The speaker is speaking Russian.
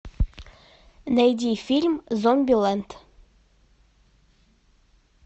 найди фильм зомбилэнд